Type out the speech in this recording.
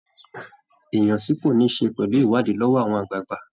Ìyàn sípò ní ṣe pẹ̀lú ìwádìí lọ́wọ́ àwọn àgbààgbà